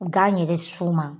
Gan yɛrɛ sun ma